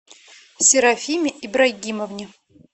серафиме ибрагимовне